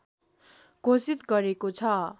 घोषित गरेको छ